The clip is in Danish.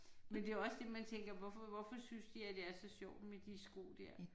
Men det er også det man tænker hvorfor hvorfor synes de at det er så sjovt med de sko der